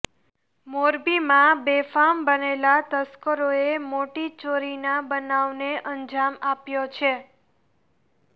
મોરબીમાં બેફામ બનેલા તસ્કરોએ મોટી ચોરીના બનાવને અજામ આપ્યો છે